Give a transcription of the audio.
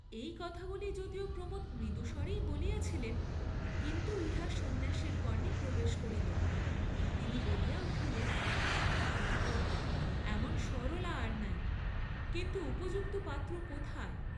এই কথাগুলি যদিও প্রমোদ মৃদুম্বরেই বলিয়াছিলেন, কিন্তু ইহা সন্ন্যাসীর কর্ণে প্রবেশ করিল, তিনি বলিয়া উঠিলেন সত্য, এমন সরলা আর নাই, কিন্তু উপযুক্ত পাত্র কোথায়?